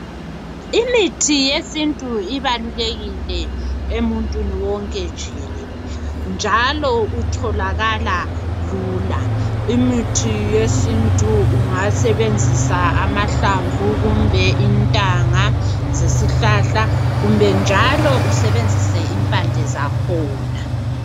Imithi yesintu ibalulekile emuntwini wonke jikelele njalo utholakala lula. Imithi yesintu ungasebenzisa amahlamvu kumbe intanga zesihlahla kumbe njalo usebenzise impande zakhona.